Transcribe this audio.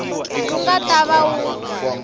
wu nga ta va wu